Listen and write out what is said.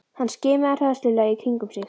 Hann skimaði hræðslulega í kringum sig.